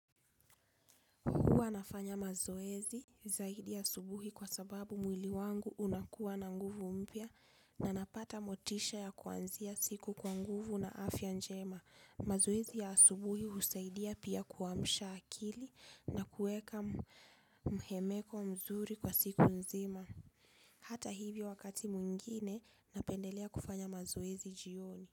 Huwa nafanya mazoezi zaidi asubuhi kwa sababu mwili wangu unakuwa na nguvu mpya na napata motisha ya kuanzia siku kwa nguvu na afya njema. Mazoezi ya asubuhi husaidia pia kuamsha akili na kuweka mhemeko mzuri kwa siku nzima. Hata hivyo wakati mwingine napendelea kufanya mazoezi jioni.